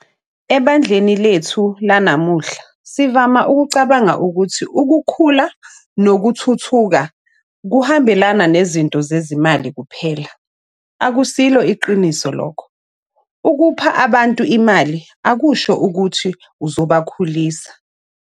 Ebandleni lethu lanamuhla, sivama ukucabanga ukuthi ukukhula nokuthuthuka kuhambelana nezinto zezimali kuphela. Akusilo iqiniso lokho - ukupha abantu imaIi akusho ukuthi uzobakhulisa.